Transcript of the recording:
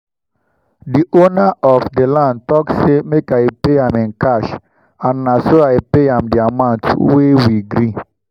dey owner of dey land talk say make i pay am in cash and naso i pay am dey amount wey we gree